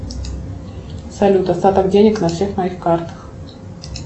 салют остаток денег на всех моих картах